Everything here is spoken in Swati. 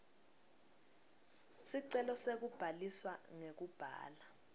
sicelo sekubhaliswa ngekubhala